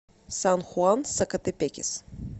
сан хуан сакатепекес